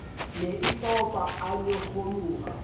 ne e opa a nyokgoloha